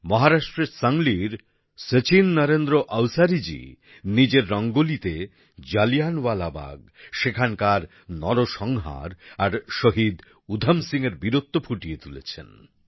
মহারাষ্ট্রের সাংলির শচীন নরেন্দ্র অওসারিজী নিজের রঙ্গোলিতে জালিয়ানওয়ালাবাগ সেখানকার নরসংহার আর শহীদ উধম সিংহের বীরত্ব ফুটিয়ে তুলেছেন